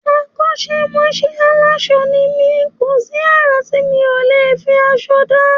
Akọ́mọṣẹ́ aránṣọ ni mí, kò sí àrà tí mi ò lè fi aṣọ dá